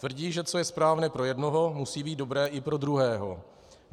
Tvrdí, že co je správné pro jednoho, musí být dobré i pro druhého.